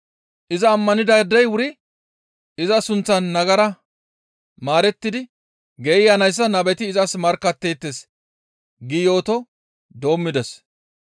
Iza ammanidaadey wuri iza sunththan nagara maarettidi geeyanayssa nabeti izas markkatteettes» gi yooto doommides.